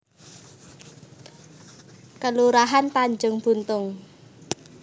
Kelurahan Tanjung Buntung